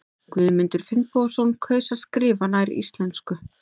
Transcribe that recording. Guðmundur Finnbogason kaus að skrifa nær íslensku.